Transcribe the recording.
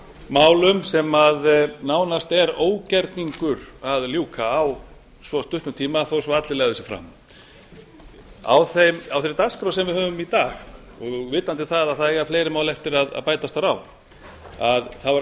málum sem nánast er ógerningur að ljúka á svo stuttum tíma þó svo að allir legðu sig fram á þeirri dagskrá sem við höfum í dag og vitandi það að það eiga fleiri mál eftir að bætast þar á er